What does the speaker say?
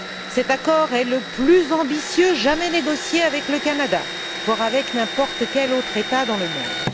Cet accord est le plus ambitieux jamais négocié avec le Canada, voire avec n'importe quel autre État dans le monde.